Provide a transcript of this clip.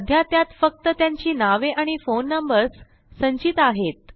सध्या त्यात फक्त त्यांची नावे आणि फोन नंबर्स संचित आहेत